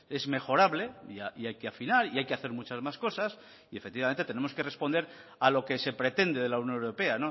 es mejorable y hay que afinar y hay que hacer muchas más cosas y efectivamente tenemos que responder a lo que se pretende de la unión europea